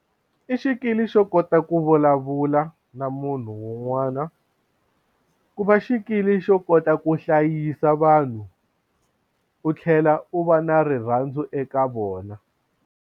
I xikili xo kota ku vulavula na munhu un'wana ku va xikili xo kota ku hlayisa vanhu u tlhela u va na rirhandzu eka vona.